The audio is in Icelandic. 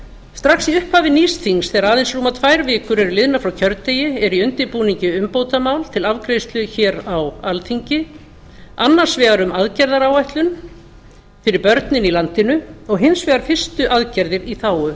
strax í upphafi nýs þings þegar aðeins rúmar tvær vikur er liðnar frá kjördegi er í undirbúningi umbótamál til afgreiðslu hér á alþingi annars vegar um aðgerðaráætlun fyrir börnin í landinu og hins vegar fyrstu aðgerðir í þágu